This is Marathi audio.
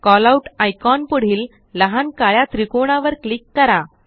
कॉलआउट आयकॉन पुढील लहान काळ्या त्रिकोणावर क्लिक करा